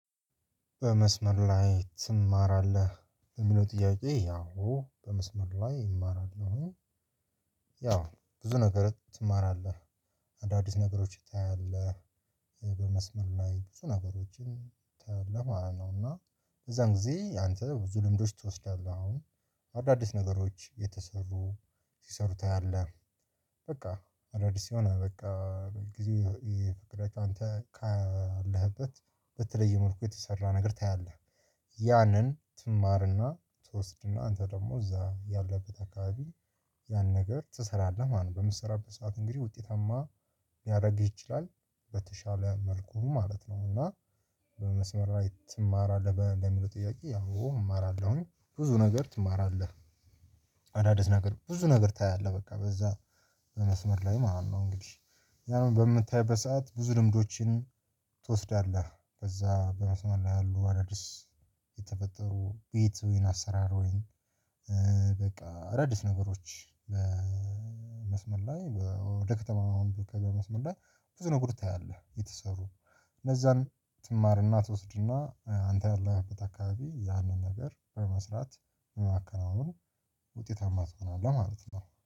በመስመር ላይ ትማራለህ የሚለው ጥያቄ? አዎ በመስመር ላይ እማራለሁኝ። ያው ብዙ ነገር ትማራለህ አዳዲስ ነገሮች ታያለህ። በመስመር ላይ ብዙ ነገሮችን ታያለህ ማለት ነው። እና የዛን ጊዜ አንተ ብዙ ልምዶች ትወስዳለህ አሁን አዳዲስ ነገሮች የተሰሩ ሲሰሩ ታያለህ። በቃ አዳዲስ የሆነ በቃ በጊዜው ፍቅረት አንተ ካለህበት ብትለይ መልኩ የተሰራ ነገር ታያለህ። ያንን ትማርና ትወስድና አንተ ደግሞ እዛ ያለበት አካባቢ ያን ነገር ትሰራለህ ማለት ነው። በምትሰራበት ሰዓት እንግዲህ ውጤታማ ሊያደርግህ ይችላል በተሻለ መልኩ ማለት ነው። እና በመስመር ላይ ትማራለህ ለሚለው ጥያቄ? አዎ እማራለሁኝ። ብዙ ነገር ትማራለህ አዳዲስ ነገር ብዙ ነገር ታያለህ በቃ በዚያ በመስመር ላይ ማለት ነው። እንግዲህ ያንን በምታይ በሰአት ብዙ ልምዶችን ትወስዳለህ በዚያ በመስመር ላይ ያሉ አደዲስ የተፈጠሩ ቤት ወይን አሰራር ወይን። በቃ አደዲስ ነገሮች በመስመር ላይ ወደ ከተማ አሁን በመስመር ላይ ብዙ ነገር ታያለህ። የተሰሩ ለዛን ትማርና ትወስድና አንተ ያለህበት አካባቢ ያንን ነገር በመስራት በማከናወን ውጤታማ ትሆናለህ ማለት ነው